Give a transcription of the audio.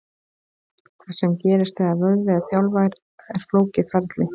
Það sem gerist þegar vöðvi er þjálfaður er flókið ferli.